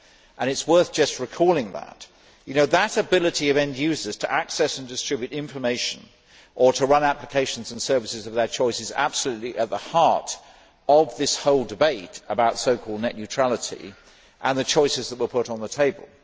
It is worth just recalling that that ability of end users to access and distribute information and to run applications and services of their choice is absolutely at the heart of this whole debate about so called net neutrality and the choices that were put on the table.